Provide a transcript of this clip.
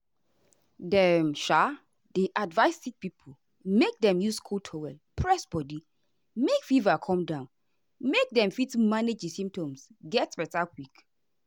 dem um dey advise sick pipo make dem use cold towel press body make fever come down make dem fit manage di symptoms get beta quick.